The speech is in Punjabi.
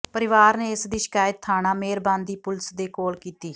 ਪਰਿਵਾਰ ਨੇ ਇਸਦੀ ਸ਼ਿਕਾਇਤ ਥਾਣਾ ਮਿਹਰਬਾਨ ਦੀ ਪੁਲੀਸ ਦੇ ਕੋਲ ਕੀਤੀ